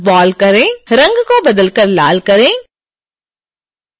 रंग को बदल कर लाल करें